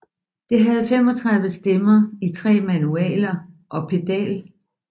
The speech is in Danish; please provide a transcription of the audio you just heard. Det havde 35 stemmer i 3 manualer og pedal